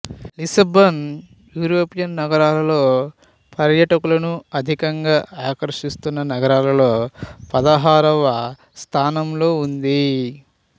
Lisbon European నగరాల్లో పర్యాటకులను అధికంగా ఆకర్షిస్తున్న నగరాలలో పదహారవ స్థానంలో ఉంది